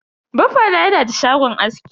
Baffa na yana da shagon aski.